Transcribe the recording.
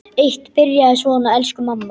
Eitt byrjaði svona: Elsku mamma!